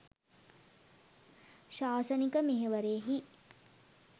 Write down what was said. ශාසනික මෙහෙවරෙහි